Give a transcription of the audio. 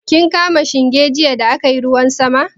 Kin kama shinge jiya da aka yi ruwan sama?